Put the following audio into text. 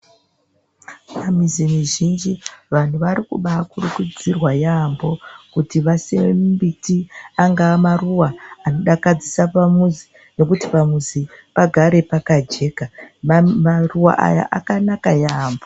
Pamizi mizhinji vantu varikubakurudzirwa yaambo kuti vasime mumbiti angawe maruwa anodakadzisa pamuzi ngekuti pamuzi pagare pakajeka maruwa aya akanaka yaambo.